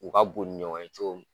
U ka bon ni ɲɔgɔn ye cogo min